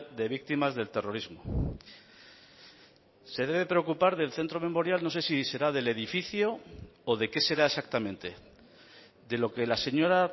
de víctimas del terrorismo se debe preocupar del centro memorial no sé si será del edificio o de qué será exactamente de lo que la señora